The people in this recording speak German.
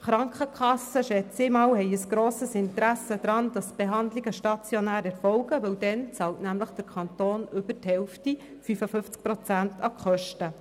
Ich gehe davon aus, dass die Krankenkassen ein grosses Interesse daran haben, dass Behandlungen stationär erfolgen, denn dann bezahlt der Kanton mehr als die Hälfte an die Kosten, nämlich 55 Prozent.